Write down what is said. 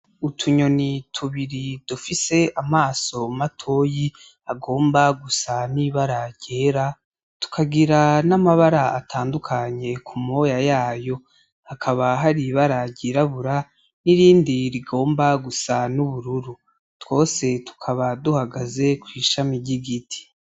Utunyoni tubiri dufise amaso matoyi agomba gusa n'ibara ryera tukagira n'amabara atandukanye kumoya yayo Hakaba har'ibara ryirabura n'irindi rigomba gusa n'ubururu ,twose tukaba duhagaze kw'ishami ry'igiti .